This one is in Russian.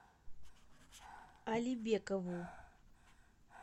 алибекову